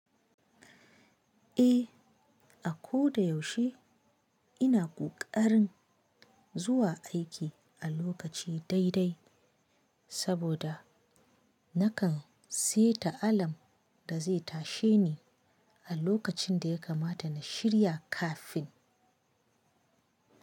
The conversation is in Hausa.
Eh, a ko da yaushe ina ƙoƙarin zuwa aiki a lokaci daidai saboda nakan seta alam da zai tashe ni a lokacin da ya kamata na shirya kafin.